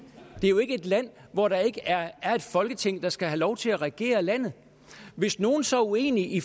det er ikke et land hvor der ikke er er et folketing der skal have lov til at regere landet hvis nogen så er uenige i